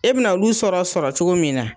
E bi na olu sɔrɔ sɔrɔ cogo min na